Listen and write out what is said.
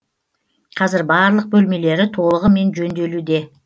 қазір барлық бөлмелері толығымен жөнделуде